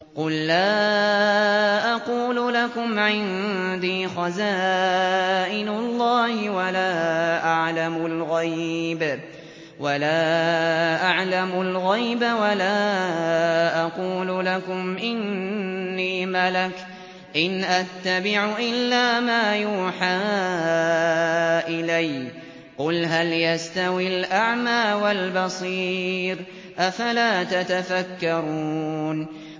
قُل لَّا أَقُولُ لَكُمْ عِندِي خَزَائِنُ اللَّهِ وَلَا أَعْلَمُ الْغَيْبَ وَلَا أَقُولُ لَكُمْ إِنِّي مَلَكٌ ۖ إِنْ أَتَّبِعُ إِلَّا مَا يُوحَىٰ إِلَيَّ ۚ قُلْ هَلْ يَسْتَوِي الْأَعْمَىٰ وَالْبَصِيرُ ۚ أَفَلَا تَتَفَكَّرُونَ